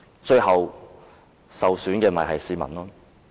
最後，受損的只是市民。